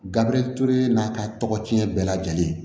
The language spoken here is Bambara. Gabiriture n'a ka tɔgɔ tiɲɛ bɛɛ lajɛlen ye